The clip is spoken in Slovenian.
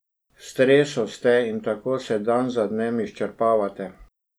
V stresu ste in tako se dan za dnem izčrpavate.